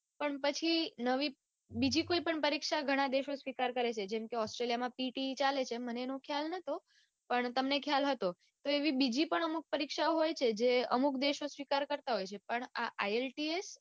પણ પછી નવી બીજી કોઈપણ પરીક્ષા ઘણા દેશો સ્વીકાર કરે છે જેમ કે australia માં PTE ચાલે છે એમ મને એનો ખ્યાલ નતો પણ તમને ખ્યાલ હતો તો એવી બીજી પણ અમુક પરીક્ષાઓ હોય છે જે અમુક દેશો સ્વીકાર કરતા હોય છે પણ આ ielts